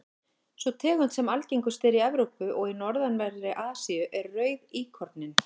sú tegund sem algengust er í evrópu og norðanverðri asíu er rauðíkorninn